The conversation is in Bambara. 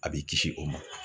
A b'i kisi o ma.